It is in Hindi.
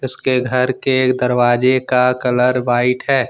उसके घर के दरवाजे का कलर व्हाइट है।